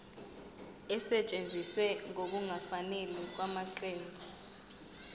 esetshenziswe ngokungafanele ngamaqembu